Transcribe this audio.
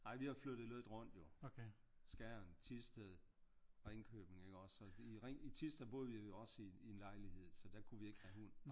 Nej vi har flyttet lidt rundt jo. Skjern Thisted Ringkøbing ikke også og i Thisted der boede vi jo også i en lejlighed så der kunne vi ikke have hund